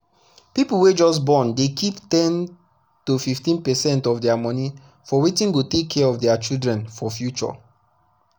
people wey just borndey keep ten to 15 percent of their money for wetin go take care of the children for future.